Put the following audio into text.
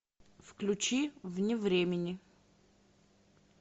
включи вне времени